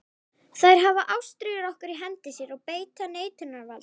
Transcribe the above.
Þær hafa ástríður okkar í hendi sér og beita neitunarvaldi.